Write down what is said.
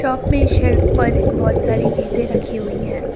Up मे shelf पर बहुत सारी चीज रखी हुई है।